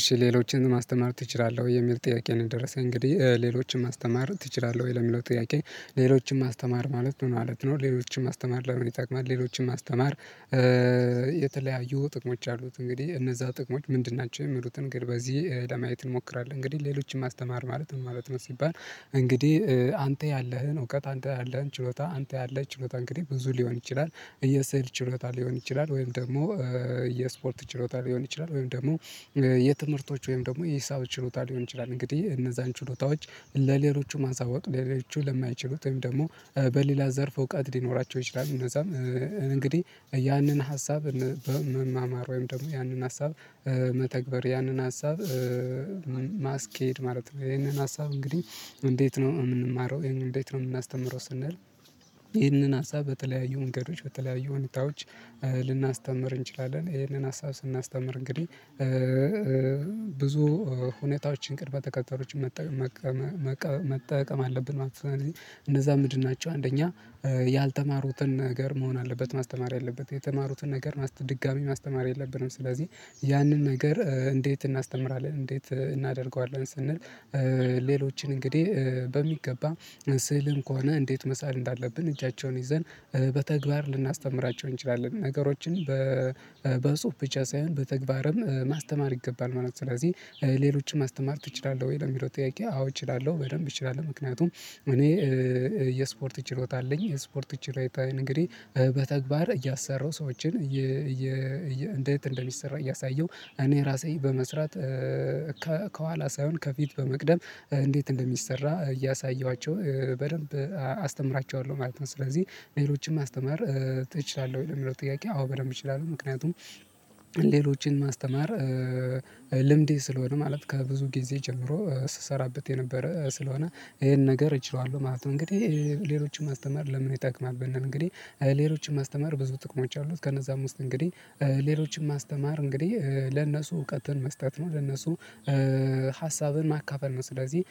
እሺ ሌሎችንም ማስተማር ትችላለህ? ወይ የሚል ጥያቄ ነው የደረሰኝ እንግዲህ ሌሎችን ማስተማር ትችላለህ ወይ ለሚለው ጥያቄ ሌሎችን ማስተማር ማለት ምን ማለት ነው? ሌሎችን ማስተማር ለምን ይጠቀማል? ሌሎችን ማስተማር የተለያዩ ጥቅሞች አሉት እንግዲህ እነዛ ጥቅሞች ምንድን ናቸው። የሚሉትን ግን በዚህ ለማየት እንሞክራለን እንግዲህ ሌሎችን ማስተማር ማለት ነው ማለት ነው? ሲባል እንግዲህ አንተ ያለህን እውቀት አንተ ያለህን ችሎታ አንተ ያለህ ችሎታ እንግዲህ ብዙ ሊሆን ይችላል። የስዕል ችሎታ ሊሆን ይችላል ወይም ደግሞ የስፖርት ችሎታ ሊሆን ይችላል ወይም ደግሞ የትምህርቶች ወይም ደግሞ የሂሳብ ችሎታ ሊሆን ይችላል እንግዲህ እነዛን ችሎታዎች ለሌሎቹ ማሳወቅ ሌሎቹ ለማይችሉት ወይም ደግሞ በሌላ ዘርፍ እውቀት ሊኖራቸው ይችላል። እነዛም እንግዲህ ያንን ሀሳብ በመማማር ወይም ደግሞ ያንን ሀሳብ መተግበር ያንን ሀሳብ ማስኬድ ማለት ነው ይሄንን ሀሳብ እንግዲህ እንዴት ነው የምንማረው ይሄንን እንዴት ነው የምናስተምረው? ስንል ይህንን ሀሳብ በተለያዩ መንገዶች በተለያዩ ሁኔታዎች ልናስተምር እንችላለን ይሄንን ሀሳብ ስናስተምር እንግዲህ ብዙ ሁኔታዎችን ቅድመ ተከተሎዎችን መ መጠቀም አለብን ማለት ነዉደ እነዛ ምንድን ናቸው? አንደኛ ያልተማሩትን ነገር መሆን አለበት ማስተማር ያለበት የተማሩትን ነገር ድጋሚ ማስተማር የለብንም ስለዚህ ያንን ነገር እንዴት እናስተምራለን እንዴት እናደርገዋለን ስንል ሌሎችን እንግዲህ በሚገባ ስዕልም ከሆነ እንዴት መሳል እንዳለብን እጃቸውን ይዘን በተግባር ልናስተምራቸው እንችላለን ነገሮችን በበጽሁፍ ብቻ ሳይሆን በተግባርም ማስተማር ይገባል ማለት ነው ስለዚህ ሌሎችም ማስተማር ትችላለህ ወይ ለሚለው ጥያቄ አዎ እችላለሁ በደንብ እችላለሁ። ምክንያቱም እኔ የስፖርት ችሎታ አለኝ የስፖርት ችሎታ እንግዲህ በተግባር እያሰራው ሰዎችን እንዴት እንደሚሰራ እያሳየሁ እኔ ራሴ በመስራት ከኋላ ሳይሆን ከፊት በመቅደም እንዴት እንደሚሰራ እያሳየኋቸው በደንብ አስተምራቸዋለሁ ማለት ነው። ስለዚህ ሌሎችን ማስተማር ትችላለህ? የሚለው ጥያቄ አዎ በደንብ እችላለሁ ምክንያቱም ሌሎችን ማስተማር ልምዴ ስለሆነ ማለት ከብዙ ጊዜ ጀምሮ ስሰራበት የነበረ ስለሆነ ይሄን ነገር እችለዋለሁ ማለት ነው። እንግዲህ ሌሎችን ማስተማር ለምን ይጠቅማል ብንል እንግዲህ ሌሎችን ማስተማር ብዙ ጥቅሞች አሉት ከነዛም ዉስጥ እንግዲህ ሌሎችን ማስተማር እንግዲህ ለነሱ እውቀትን መስጠት ነው። ለነሱ ሀሳብን ማካፈል ነው ስለዚህ